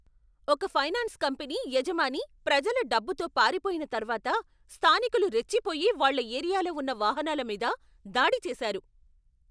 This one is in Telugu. ఒక ఫైనాన్స్ కంపెనీ యజమాని ప్రజల డబ్బుతో పారిపోయిన తర్వాత స్థానికులు రెచ్చిపోయి వాళ్ళ ఏరియాలో ఉన్న వాహనాల మీద దాడి చేశారు.